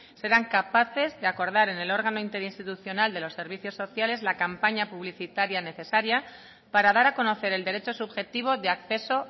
serán capaces de acordar en el órgano interinstitucional de los servicios sociales la campaña publicitaria necesaria para dar a conocer el derecho subjetivo de acceso